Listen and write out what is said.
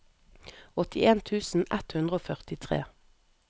åttien tusen ett hundre og førtitre